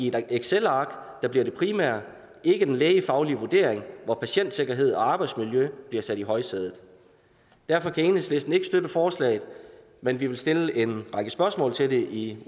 et excelark der bliver det primære ikke den lægefaglige vurdering hvor patientsikkerhed og arbejdsmiljø bliver sat i højsædet derfor kan enhedslisten ikke støtte forslaget men vi vil stille en række spørgsmål til det i